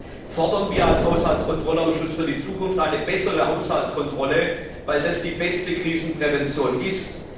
Deshalb fordern wir als Haushaltskontrollausschuss für die Zukunft eine bessere Haushaltskontrolle, weil das die beste Krisenprävention ist.